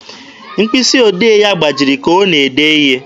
Mkpịsị odee ya gbajiri ka ọ na-ede ihe.